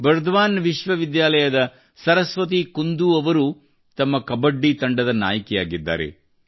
ಬರ್ದ್ವಾನ್ ವಿಶ್ವವಿದ್ಯಾಲಯದ ಸರಸ್ವತಿ ಕುಂದೂ ಅವರು ತಮ್ಮ ಕಬಡ್ಡಿ ತಂಡದ ನಾಯಕಿಯಾಗಿದ್ದಾರೆ